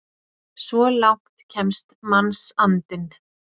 Svo langt kemst mannsandinn!